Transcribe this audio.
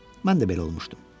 Mən də belə olmuşdum.